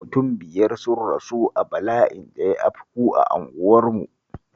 Mutum biyar sun rasu a bala'in da ya afku a unguwar